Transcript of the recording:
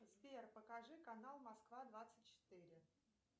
сбер покажи канал москва двадцать четыре